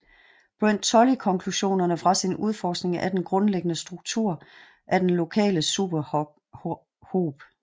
Brent Tully konklusionerne fra sin udforskning af den grundlæggende struktur af den Lokale superhob